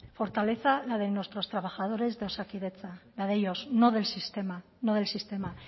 fortaleza la de nuestros trabajadores de osakidetza la de ellos no del sistema no del sistema